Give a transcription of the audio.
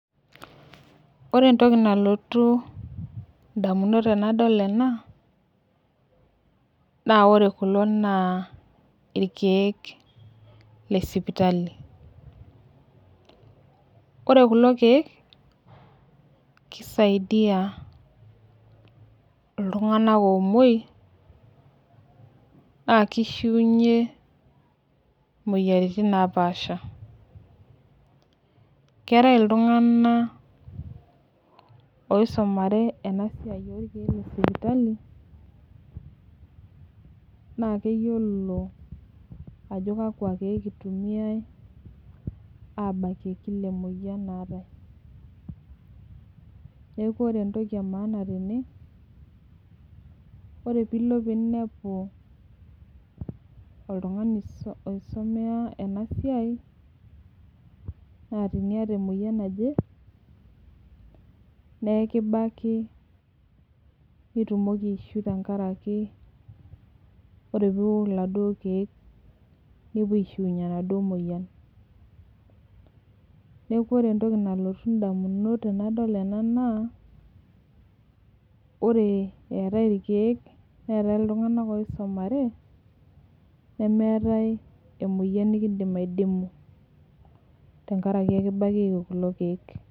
Ore entoki nalotu indamunot tenadol ena naa ore kulo naa ilkeek le sipitali. Ore kulo keek keisaidia iltung'anak oomwoi, naakeishuunye imoyiaritin napaasha. Keatai iltung'ana oisumare ena siai olkeek le sipitali naa keyiolo ajo kakwa keek eitumiyai abakie, kila emoyian naatai. Neaku ore entoki e maaana tene, naa ore pee ilo ninepu oltung'ani oisumea ena siai, naa tiniata emoyian naje, nekibaki pee itumoki aishiu tenakarake, ore teniok laduo keek, nepuo aishuunye ena duo moyian. Neaku ore entoki nalotu indamunot tenadol ena naa ore eatai ilkeek neatai iltung'anak oisumare, nemeatai emoyian nekindim aidimuu tenkaraki kbakieki kulo keek.